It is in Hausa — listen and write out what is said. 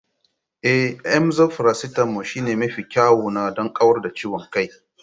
Emzor faracetamol shine mafi kyawuna don kawar da ciwon kai.